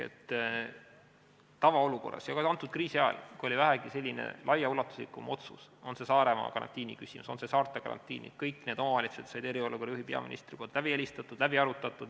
Tavaolukorras ja ka kriisi ajal, kui oli vähegi laiaulatuslikum otsus, oli see Saaremaa karantiini küsimus või saarte karantiinid, siis kõik need omavalitsused said eriolukorra juhil, peaministril, läbi helistatud ja asi sai läbi arutatud.